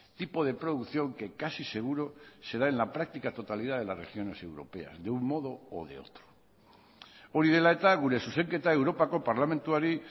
tipo de producción que casi seguro se da en la práctica totalidad de las regiones europeas de un modo o de otro hori dela eta gure zuzenketa europako parlamentuari